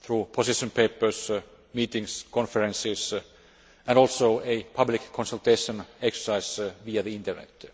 through position papers, meetings, conferences and also a public consultation exercise via the Internet.